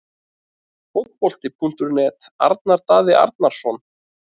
Fótbolti.net- Arnar Daði Arnarsson